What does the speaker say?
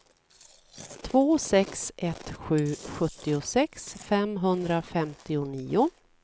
två sex ett sju sjuttiosex femhundrafemtionio